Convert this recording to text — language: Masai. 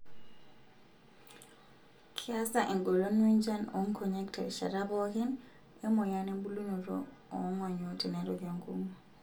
Keasa engolon wenjian oonkonyek terishata pookin emoyian embulunoto oongonyo tenerok enkong'u.